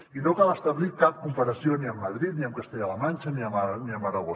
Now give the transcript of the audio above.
i no cal establir cap comparació ni amb madrid ni amb castella la manxa ni amb aragó